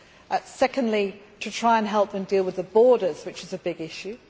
and secondly, to try and help them deal with their borders, which is a big issue.